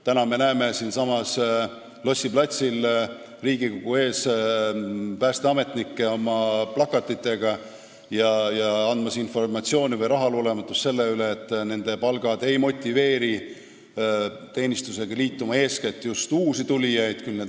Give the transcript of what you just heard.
Täna me näeme siinsamas Lossi platsil Riigikogu ees päästeametnikke oma plakatitega andmas informatsiooni või avaldamas rahulolematust selle üle, et nende palgad ei motiveeri teenistusega liituma uusi tulijaid.